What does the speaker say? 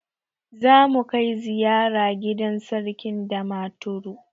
Zamu kai ziyara gidan Sarkin Damaturu.